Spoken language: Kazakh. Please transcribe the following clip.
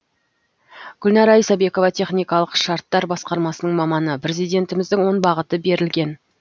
гүлнара исабекова техникалық шарттар басқармасының маманы президентіміздің он бағыты берілген